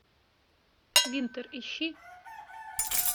винтер ищи